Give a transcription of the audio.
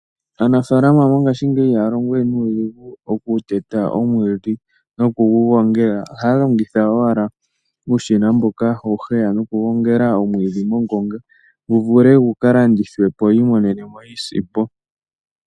Aanafalama mongashingeyi ihaya longowe nuudhigu okuteta omwiidhi nokugu gongela ohaya longitha ashike uushina mboka hawu heya nokuteta omwiidhi mongonga wu vule gukalandithwepo ya mone iisimpo.